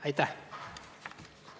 Aitäh!